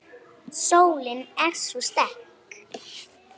Sólin er svo sterk.